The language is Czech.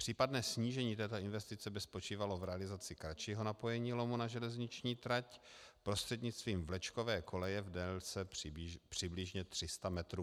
Případné snížení této investice by spočívalo v realizaci kratšího napojení lomu na železniční trať prostřednictvím vlečkové koleje v délce přibližně 300 metrů.